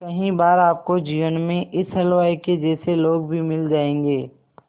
कई बार आपको जीवन में इस हलवाई के जैसे लोग भी मिल जाएंगे